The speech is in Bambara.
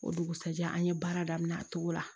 O dugusɛjɛ an ye baara daminɛ a cogo la